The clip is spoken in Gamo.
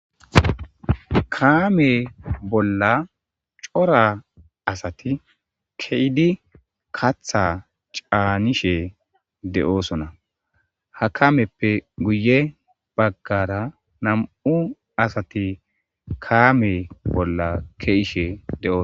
Kaame bolla cora asati keyidi katha caanishe de'oosona ha kameppe guye baggara nam'u asati kaame bolla keishe de'o